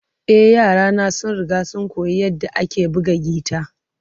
E, yarana sun riga sun koyi yadda ake buga gita.